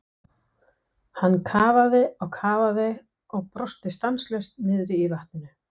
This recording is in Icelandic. Hann kafaði og kafaði og brosti stanslaust niðri í vatninu.